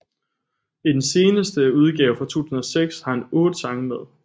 I den seneste udgave fra 2006 har han 8 sange med